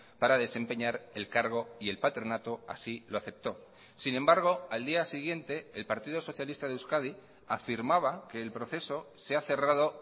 para desempeñar el cargo y el patronato así lo acepto sin embargo al día siguiente el partido socialista de euskadi afirmaba que el proceso se ha cerrado